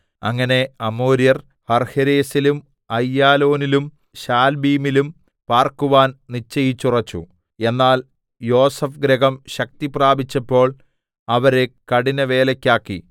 അങ്ങനെ അമോര്യർ ഹർഹേരെസിലും അയ്യാലോനിലും ശാൽബീമിലും പാർക്കുവാൻ നിശ്ചയിച്ചുറച്ചു എന്നാൽ യോസേഫ് ഗൃഹം ശക്തി പ്രാപിച്ചപ്പോൾ അവരെ കഠിനവേലയ്ക്കാക്കി